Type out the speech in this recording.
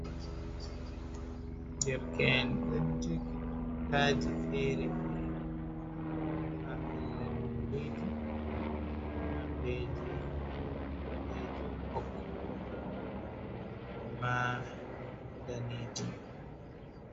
Derken ɗon joggi tutaji fere-fere, ha pellel maulidi nondeji boɗejum, ɓokko ɓokko, ema danejum.